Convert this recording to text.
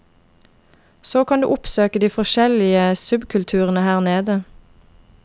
Så kan du oppsøke de forskjellige subkulturene her nede.